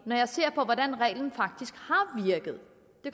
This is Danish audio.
når jeg ser på hvordan reglen faktisk har virket